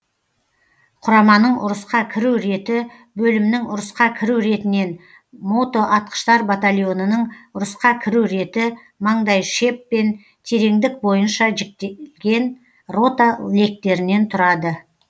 құраманың ұрысқа кіру реті бөлімнің ұрысқа кіру ретінен мотоатқыштар батальонының ұрысқа кіру реті маңдайшеп пен тереңдік бойынша жіктелген рота лектерінен тұрады